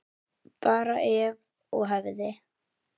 Bara ef og hefði.